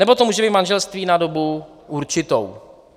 Nebo to může být manželství na dobu určitou.